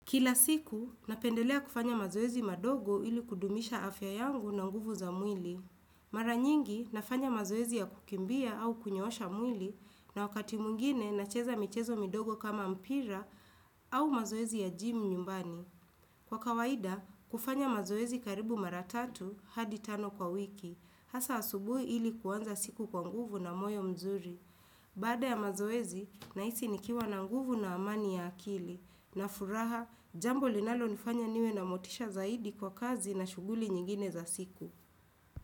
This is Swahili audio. Kila siku, napendelea kufanya mazoezi madogo ili kudumisha afya yangu na nguvu za mwili. Mara nyingi, nafanya mazoezi ya kukimbia au kunyoosha mwili, na wakati mwingine, nacheza michezo midogo kama mpira au mazoezi ya jimu nyumbani. Kwa kawaida, kufanya mazoezi karibu mara tatu, hadi tano kwa wiki, hasa asubuhi ili kuanza siku kwa nguvu na moyo mzuri. Baada ya mazoezi, nahisi nikiwa na nguvu na amani ya akili, na furaha jambo linalonifanya niwe na motisha zaidi kwa kazi na shughuli nyingine za siku.